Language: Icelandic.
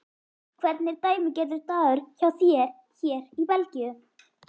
Hvernig er dæmigerður dagur hjá þér hér í Belgíu?